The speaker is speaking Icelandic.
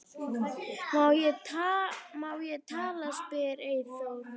Má ég tala? spyr Eyþór.